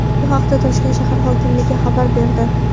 Bu haqda Toshkent shahar hokimligi xabar berdi .